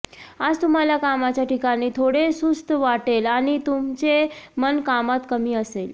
आज तुम्हाला कामाच्या ठिकाणी थोडे सुस्त वाटेल आणि तुमचे मन कामात कमी असेल